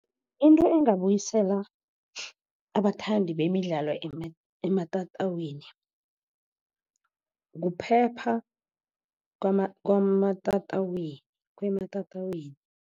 Into engabuyisela abathandi bemidlalo ematatawini kuphepha kwematatawini.